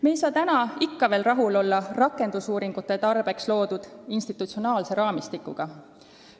Me ei saa ikka veel rahul olla rakendusuuringute tarbeks loodud institutsionaalse raamistikuga.